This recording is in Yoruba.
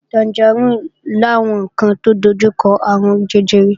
Tangaríìnì làwọn ǹkan tó ń dojúkọ àrùn jẹjẹrẹ